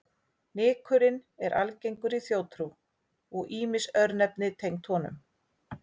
Nykurinn er algengur í þjóðtrú og ýmis örnefni tengd honum.